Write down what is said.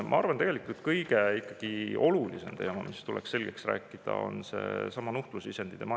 Ma arvan, et ikkagi kõige olulisem teema, mis tuleks selgeks rääkida, on seesama nuhtlusisendi teema.